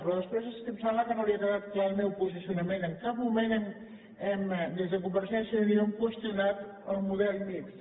però després és que em sembla que no li ha quedat clar el meu posicionament en cap moment des de convergència i unió hem qüestionat el model mixt